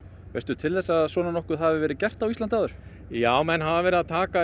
veistu til þess að svona nokkuð hafi verið gert á Íslandi áður já menn hafa verið að taka